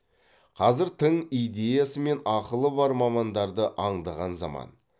қазір тың идеясы мен ақылы бар мамандарды аңдыған заман